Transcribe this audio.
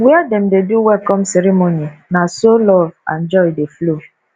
where dem dey do welcome ceremony na so love and joy dey flow